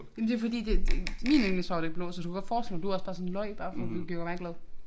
Men det fordi det det min yndlingsfarve det blå så det kunne godt forestille mig du også bare sådan løj bare for du vil gøre mig glad